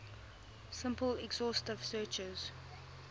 simple exhaustive searches